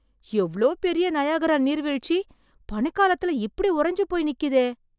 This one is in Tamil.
எவ்ளோ பெரிய நயாகரா நீர்வீழ்ச்சி, பனிக்காலத்துல இப்டி உறைஞ்சு போய் நிக்குதே...